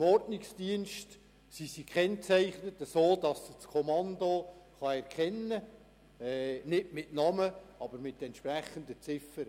Im Ordnungsdienst sind sie so gekennzeichnet, dass das Kommando sie erkennen kann, nicht mit Namen, aber mit den entsprechenden Ziffern.